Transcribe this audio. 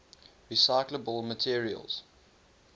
recyclable materials